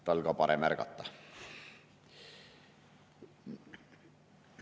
Tal ka parem ärgata.